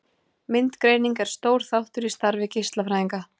Myndgreining er stór þáttur í starfi geislafræðinga.